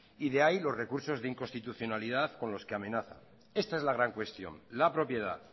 y de ahí los recursos de inconstitucionalidad con los que amenaza esta es la gran cuestión la propiedad